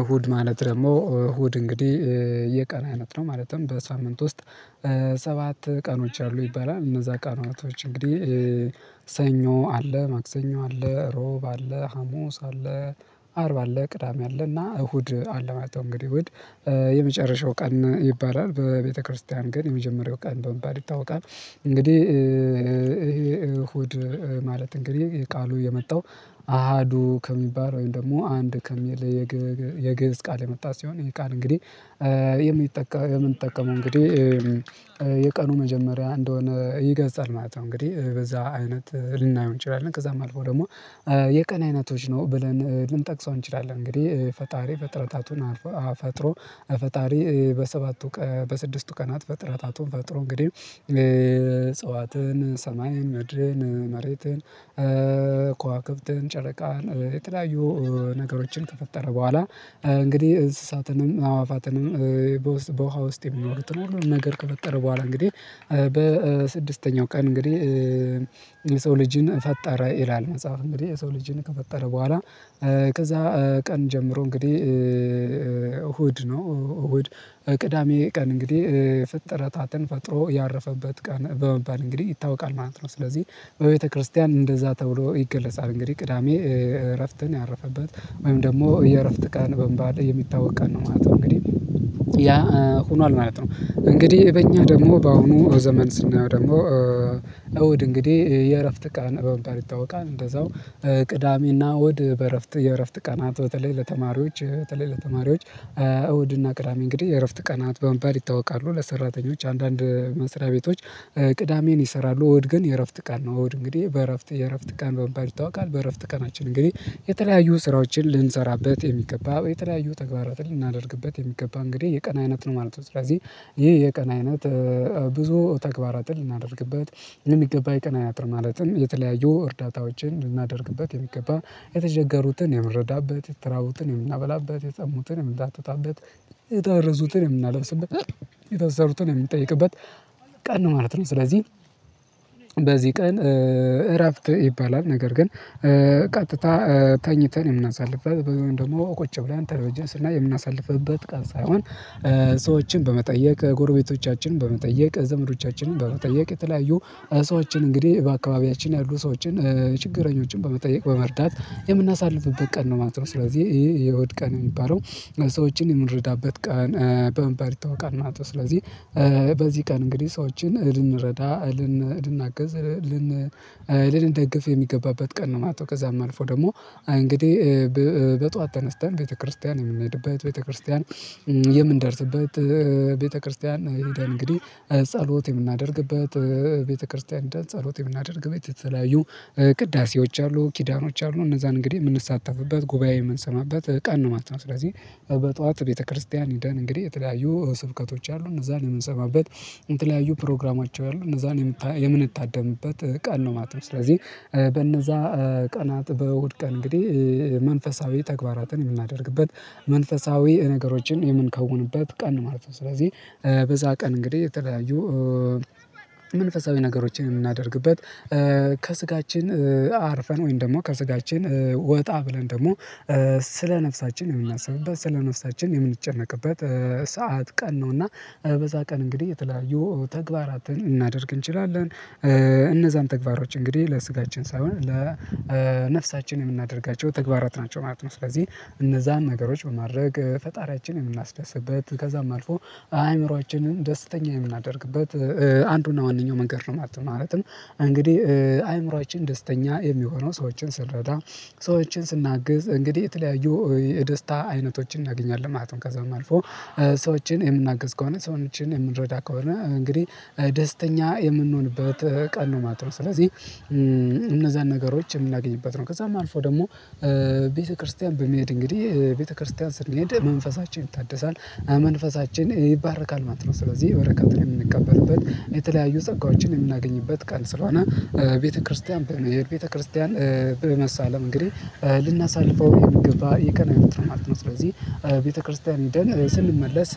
እሁድ ማለት ደግሞ እሁድ እንግዲህ የቀና አይነት ነው ማለትም በሳምንት ውስጥ ሰባት ቀኖች አሉ ይባላል እነዛ ቀናቶች እንግዲህ ሰኞ አለ ማክሰኞ አለ ሮብ አለ ሀሙስ አለ አርብ አለ ቅዳሜ አለ እና እሁድ አለ ማለት ነው። እንግዲህ እሁድ የመጨረሻው ቀን ይባላል በቤተክርስቲያን ግን የመጀመሪያው ቀን በመባል ይታወቃል እንግዲህ ይሄ አሁድ ማለት እንግዲህ የቃሉ የመጣው አሃዱ ከሚባል ወይም ደግሞ አንድ ከሚል የግብጽ ቃል የመጣ ሲሆን የቃል እንግዲህ የምንጠቀመው እንግዲህ የቀኑ መጀመሪያ እንደሆነ ይገልጻል ማለት ነው። እንግዲህ በዛ አይነት ልናየው እንችላለን ከዛም አልፎ ደግሞ የቀን አይነቶች ነው ብለን ልንጠቅሰው እንችላለን እንግዲህ ፈጣሪ ፈጥረታቱን አፍጥሮ ፈጣሪ በሰባቱ በስድስቱ ቀናት ፈጥረታቱን ፈጥሮ እንግዲህ አጽዋትን ሰማይን ምድርን መሬትን ከዋክብትን ጨረቃን የተለያዩ ነገሮችን ከፈጠረ ቦኋላ እንግዲህ እንስሳትንም አዋፋትንም በውሃ ውስጥ የሚኖሩትን ነገር ከፈጠረ ቦኋላ እንግዲህ በስድስተኛው ቀን እንግዲህ ልጅን ፈጠረ ይላል መጽሐፍ እንግዲህ የሰው ልጅን ከፈጠረ ቦኋላ ከዛ ቀን ጀምሮ እንግዲህ እሁድ ነው እሁድ ቅዳሜ ቀን እንግዲህ ፍጥረታትን ፈጥሮ ያረፈበት ቀን በመባል እንግዲህ ይታወቃል ማለት ነው። ስለዚህ በቤተክርስቲያን እንደዛ ተብሎ ይገለጻል እንግዲህ ቅዳሜ እረፍትን ያረፈበት ወይም ደግሞ የእረፍት ቀን በምባል የሚታወቀን ነው ማለት ነው እንግዲህ ያ ሆኗል ማለት ነው እንግዲህ በእኛ ደግሞ በአሁኑ ዘመን ስናየው ደግሞ እውድ እንግዲህ የእረፍት ቀን በመባል ይታወቃል እንደዛው ቅዳሜና አሁድን በእረፍት የእረፍት ቀናት በተለይ ለተማሪዎች በተለይ ለተማሪዎች እሁድና ቅዳሜ እንግዲህ የእረፍት ቀናት በመባል ይታወቃሉ ለሰራተኞች አንዳንድ መስሪያ ቤቶች ቅዳሜን ይሰራሉ እሁድ ግን የእረፍት ቀን ነው። እሁድ እንግዲህ በእረፍት የእረፍት ቀን በመባል ይታወቃል በእረፍት ቀናችን እንግዲህ የተለያዩ ስራዎችን ልንሰራበት የሚገባ የተለያዩ ተግባራትን ልናደርግበት የሚገባ እንግዲህ የቀን አይነት ነው ማለት ነው ስለዚህ ይሄ የቀን አይነት ብዙ ተግባራትን ልናደርግበት የሚገባ የቀን አጥር ማለትም የተለያዩ እርዳታዎችን ልናደርግበት የሚገባ የተቸገሩትን የምንረዳበት የተራቡትን የምናበላበት የጠሙትን የምናጠጣበት የታረዙትን የምናለብስበት የታሰሩትን የምንጠይቅበት ቀን ነው ማለት ነው ስለዚህ በዚህ ቀን እረፍት ይባላል ነገር ግን ቀጥታ ተኝተን የምናሳልፍላት ደግሞ ቁጭ ብለን ተለቢጅን ስናይ የምናሳልፍበት ቃል ሳይሆን ሰዎችን በመጠየቅ ጎረቤቶቻችን በመጠየቅ ዘመዶቻችንን በመጠየቅ የተለያዩ ሰዎችን እንግዲህ በአካባቢያችን ያሉ ሰዎችን ችግረኞችን በመጠየቅ በመርዳት የምናሳልፍበት ቀን ነው ማለት ነው። ስለዚህ ይሄ የአሁድ ቀን ነው የሚባለው ሰዎችን የምንረዳበት ቀን በምባል ይታወቃል ማለት ነው ስለዚህ በዚህ ቀን እንግዲህ ሰዎችን ልንረዳ እልን እናግዝ ልን ልንደግፍ የሚገባበት ቀን ነው ማለት ነው ከዛም አልፎ ደግሞ እንግዲህ በጧት ተነስተን ቤተክርስቲያን የምንሄድበት ቤተክርስቲያን የምንደርስበት ቤተክርስቲያን ይሄዳል አንግዲህ ጸሎት የምናደርግበት ቤተክርስቲያን ጸሎት የምናደርግበት የተለያዩ ቅዳሴዎች አሉ ኪዳኖች አሉ እነዛን እንግዲህ የምንሳተፍበት ጉባኤ የምንሰማበት ቀን ነው ማለት ነው። ስለዚህ በጧት ቤተክርስቲያን ሄደን እንግዲህ የተለያዩ ስብከቶች አሉ እነዛን የምንሰማበት የተለያዩ ፕሮግራማቸው ያሉ እነዛን የምንታደምበት ቃል ነው ማለት ነው ስለዚህ በእነዛ ቀናት በእሁድ ቀን እንግዲህ መንፈሳዊ ተግባራትን የምናደርግበት መንፈሳዊ ነገሮችን የምንከውንበት ቀን ማለት ነው ስለዚህ በዛ ቀን እንግዲህ የተለያዩ መንፈሳዊ ነገሮችን የምናደርግበት ከስጋችን አርፈን ወይም ደግሞ ከስጋችን ወጣ ብለን ደግሞ ስለ ነፍሳችን የምናስብበት ስለ ነፍሳችን የምንጨነቅበት ሰዓት ቀን ነውና በዛ ቀን እንግዲህ የተለያየው ተግባራትን ልናደርግ እንችላለን። እነዛን ተግባሮች እንግዲህ ለስጋችን ሳይሆን ለነፍሳችን የምናደርጋቸው ተግባራት ናቸው ማለት ነው። ስለዚህ እነዛን ነገሮች በማድረግ ፈጣሪያችንን የምናስደስበት ከዛም አልፎ አእምሮአችንን ደስተኛ የምናደርግበት አንዱና ዋነኛው መንገድ ነው ማለት ነው ማለትም አንግዲህ አእምሮአችን ደስተኛ የሚሆነው ሰዎችን ስንረዳ ሰዎችን ስናግዝ እንግዲህ የተለያዩ የደስታ አይነቶችን እናገኛለን ማለት ነው። ከዛም አልፎ ሰዎችን የምናግዝ ከሆነ ሰዎችን የምንረዳ ከሆነ እንግዲህ ደስተኛ የምንሆንበት ቀን ነው ማለት ነው። ስለዚህ እነዛን ነገሮች የምናገኝበት ነው ከዛም አልፎ ደግሞ ቤተክርስቲያን በሚሄድ እንግዲህ ቤተክርስቲያን ስንሄድ መንፈሳችንን ይታድሳል መንፈሳችን ይባረካል ማለት ነው ስለዚህ በረከት የምንቀበልበት የተለያዩ ጸጋዎችን የምናገኝበት ቀን ስለሆነ ቤተክርስቲያን ቤተክርስቲያን በመሳለም እንግዲህ ልናሳልፈው የሚገባ የቀ የምትለው ማለት ነው ስለዚህ ቤተክርስቲያን ህደን ስንመለስ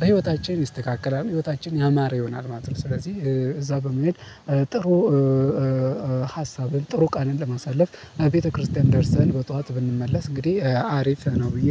በህይወታችን ይስተካከላል ህይወታችን ያማረ ይሆናል ማለት ነው። ስለዚህ እዛ በመሄድ ጥሩ ሀሳብን ጥሩ ቃልን ለማሳለፍ ቤተክርስቲያን ደርሰን በጧት ብንመለስ እንግዲህ አሪፍ ነው ብዬ